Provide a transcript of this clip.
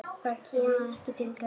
Það kemur ekki til greina